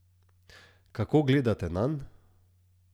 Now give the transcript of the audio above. Kako gledate nanj?